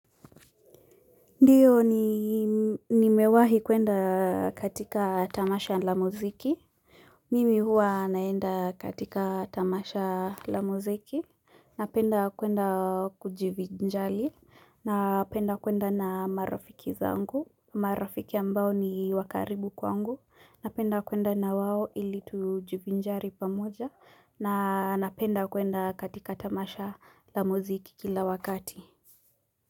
Ndio ni nimewahi kuenda katika tamasha la muziki. Mimi huwa naenda katika tamasha la muziki. Napenda kuenda kujivinjari. Napenda kuenda na marafiki zangu. Marafiki ambao ni wakaribu kwangu. Napenda kuenda na wao ili tujivinjari pamoja. Na napenda kuenda katika tamasha la muziki kila wakati.